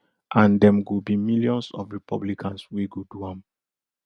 and dem go be millions of republicans wey go do am